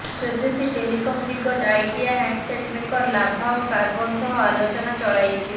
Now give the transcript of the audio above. ସ୍ୱଦେଶୀ telecom ଦିଗ୍ଗଜ Idea handset maker Lava ଏବଂ Karbonn ସହ ଆଲୋଚନା ଚଳାଇଛି